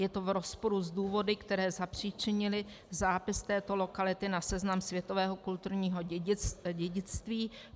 Je to v rozporu s důvody, které zapříčinily zápis této lokality na seznam světového kulturního dědictví.